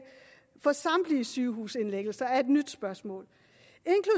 for samtlige sygehusindlæggelser det er et nyt spørgsmål